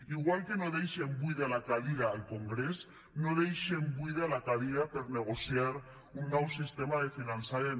igual que no deixen buida la cadira al congrés no deixen buida la cadira per negociar un nou sistema de finançament